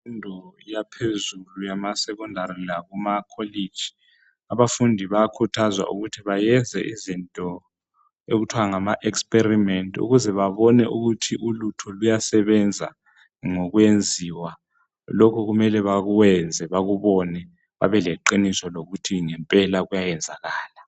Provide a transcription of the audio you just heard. Kwimfundo yaphezulu yamasecondary lakuma college. Abafudi bayakhuthazwa ukuthi bayenze izinto okuthwa ngama experiment ukuze babone ukuthi ulutho luyasebenza ngokwenziwa. Lokhu kumele bakwenze bakubone babe leqiniso ukuthi ngempela kuyayenzakala.